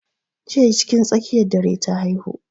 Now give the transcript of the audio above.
Jiya cikin tsakiyar dare ta haihu.